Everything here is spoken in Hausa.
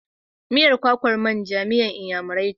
Miyar kwakan manja miyar Inyamurai ce.